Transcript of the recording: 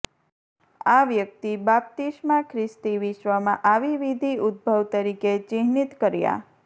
આ વ્યક્તિ બાપ્તિસ્મા ખ્રિસ્તી વિશ્વમાં આવી વિધિ ઉદભવ તરીકે ચિહ્નિત કર્યાં